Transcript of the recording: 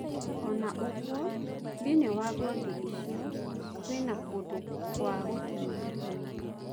Ona ũgwo, thiinie wa ngothi icio, kũina kũndũ kwa gũtinũka tinũka.